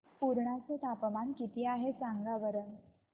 पुर्णा चे तापमान किती आहे सांगा बरं